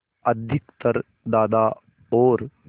अधिकतर दादा और